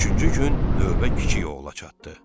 Üçüncü gün növbə kiçik oğula çatdı.